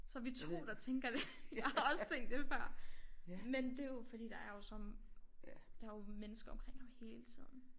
Så er vi 2 der tænker det jeg har også tænkt det før men det er jo fordi der er jo som der er jo mennesker omkring ham hele tiden